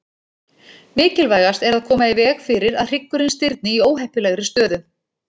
Mikilvægast er að koma í veg fyrir að hryggurinn stirðni í óheppilegri stöðu.